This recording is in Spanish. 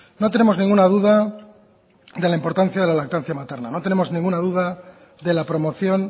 no tenemos ninguna duda de la importancia de la lactancia materna no tenemos ninguna duda de la promoción